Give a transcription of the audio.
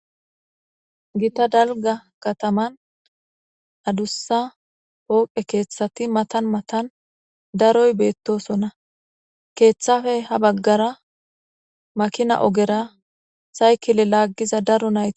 dalga kataman adussa pooqe keeththati matan matan daroy beettosonna keeththafey ha baggara makina ogera saykile laaggiza daro nayt.